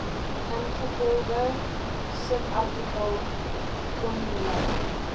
ingevolge subartikel kondonering